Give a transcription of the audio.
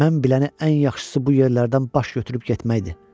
Mən biləni ən yaxşısı bu yerlərdən baş götürüb getməkdir.